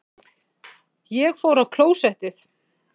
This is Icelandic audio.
Ég fór á klósettið.